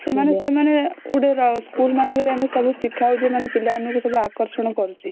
ସେମାନେ ସେମାନେ ଗୋଟେ school ମାନଙ୍କର ସବୁ ଶିଖା ହଉଚି ମାନେ ପିଲା ମାନଙ୍କୁ ସବୁ ଆକର୍ଷଣ କରୁଛି